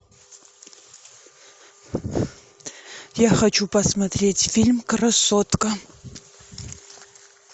я хочу посмотреть фильм красотка